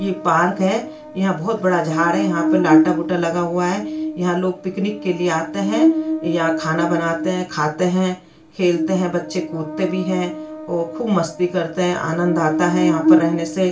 ये पार्क है यहाँ बहोत बड़ा झाड है यहाँ पे लाटा-गुटा लगा हुआ है यहाँ लोग पिकनिक के लिए आते है यहाँ खाना बनाते है खाते है खेलते है बच्चे कूदते भी है और खूब मस्ती करते है आनंद आता है यहाँ पर रहने से --